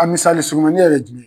A misali surumani yɛrɛ ye jumɛn ye?